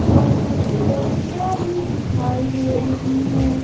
और कुछ मूर्तियां भी दिखाई दे रही हैं।